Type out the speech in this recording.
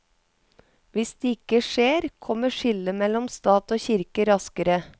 Hvis det ikke skjer, kommer skillet mellom stat og kirke raskere.